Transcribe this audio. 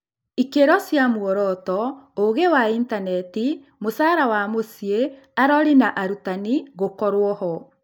Ikĩro cia mworoto, ũgĩ wa intaneti, mũcara wa mũciĩ, arori na arutani gũkorwo-ho.